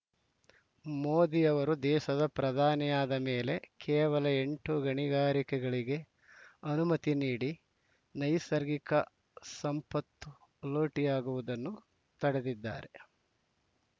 ಮೋದಿ ಅವರು ದೇಶದ ಪ್ರಧಾನಿಯಾದ ಮೇಲೆ ಕೇವಲ ಎಂಟು ಗಣಿಗಾರಿಕೆಗಳಿಗೆ ಅನುಮತಿ ನೀಡಿ ನೈಸರ್ಗಿಕ ಸಂಪತ್ ಲೂಟಿಯಾಗುವುದನ್ನು ತಡೆದಿದ್ದಾರೆ